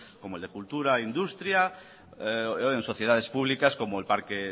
como el de cultura industria en sociedades públicas como el parque